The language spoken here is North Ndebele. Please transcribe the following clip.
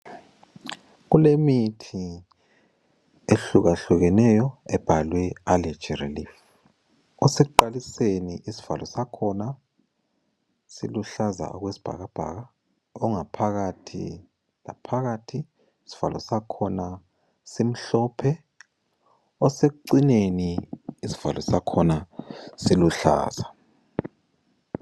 Kulemithi ehluka hlukeneyo ebhalwe allergy relief osekuqaliseni isivalo sakhona siluhlaza okwesibhakabhaka, ongaphakathi laphakathi isivalo sakhona simhlophe, osekucineni isivalo sakhona siluhlaza.